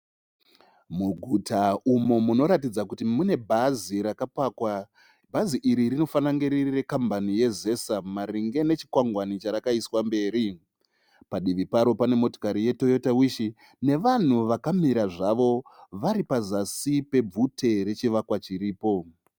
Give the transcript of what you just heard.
Muguta umo munoratidza kuti mune bhazi rakapakwa. Bhazi iri rinofana kunge riri rekambani yeZESA maringe nechikwangwani charakaiswa mberi. Padivi paro pane motikari ye'Toyota Wish', nevanhu vakamira zvavo vari pazasi pebvute rechivakwa chiripo.